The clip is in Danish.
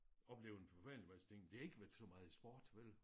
Oplevet en forfærdelig masse ting det har ikke været så meget i sport vel